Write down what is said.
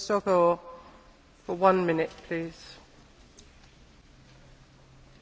Az Európai Unió lakosságának elsöprő többsége keresztény vallású.